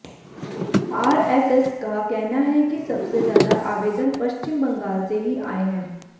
RSS का कहना है कि सबसे ज्यादा आवेदन पश्चिम बंगाल से ही आए हैं